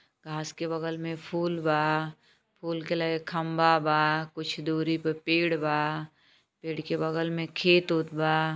घास के बगल में फूल बा फूल के लगे खंबा बा कुछ दूरी पे पेड़ बा पेड़ के बगल में खेत ओत बा।